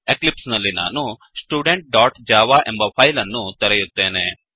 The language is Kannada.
ಎಕ್ಲಿಪ್ಸ್ ನಲ್ಲಿ ನಾನು studentಜಾವಾ ಎಂಬ ಫೈಲ್ ಅನ್ನು ತೆರೆಯುತ್ತೇನೆ